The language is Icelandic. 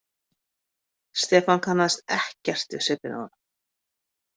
Stefán kannaðist ekkert við svipinn á honum.